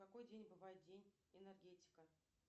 в какой день бывает день энергетика